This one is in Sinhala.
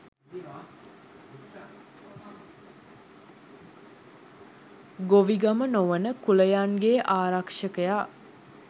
ගොවිගම නොවන කුලයන්ගේ ආරක්ෂකයා